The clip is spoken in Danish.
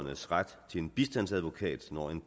betragter